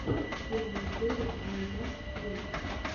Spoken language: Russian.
первая серия ай дабз ти ви